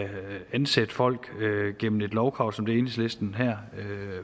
ansætte folk gennem et lovkrav som det som enhedslisten her